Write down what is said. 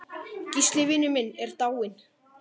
Gísli vinur minn er dáinn.